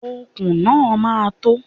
Okùn náà ma tó.